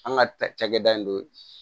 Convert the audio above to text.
An ka ta cakɛda in don